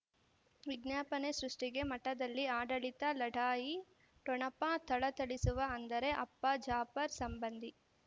ವಿಜ್ಞಾಪನೆ ಸೃಷ್ಟಿಗೆ ಮಠದಲ್ಲಿ ಆಡಳಿತ ಲಢಾಯಿ ಠೊಣಪ ಥಳಥಳಿಸುವ ಅಂದರೆ ಅಪ್ಪ ಜಾಫರ್ ಸಂಬಂಧಿ